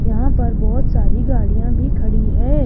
यहां पर बहोत सारी गाड़ियां भी खड़ी है।